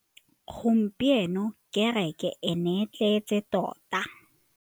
Gompieno kêrêkê e ne e tletse tota.